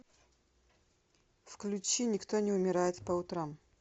включи никто не умирает по утрам